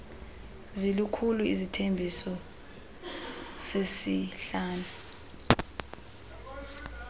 zilikhulu isithembiso sesihlanu